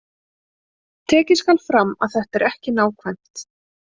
Tekið skal fram að þetta er ekki nákvæmt.